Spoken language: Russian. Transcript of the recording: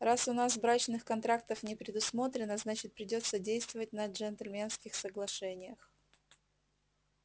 раз у нас брачных контрактов не предусмотрено значит придётся действовать на джентльменских соглашениях